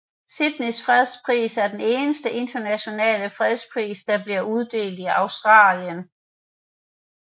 Sydneys fredsprisen er den eneste internationale fredspris der bliver uddelt i Australien